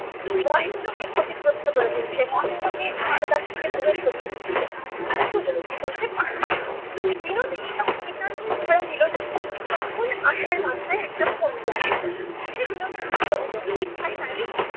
মহেন্দ্রকে ক্ষতিগ্রস্থ করে তুলছে। মহেন্দ্রকে তার কাছ থেকে দূরে সরিয়ে দিচ্ছে। সেটা সে উপলব্ধি করতে পারত। বিনোদিনী যখন নিতান্তই দিলোনা তখন আশার মাথায় একটা ফন্দি আসিল। সে বিনোদিনীকে বলিল ভাই বালি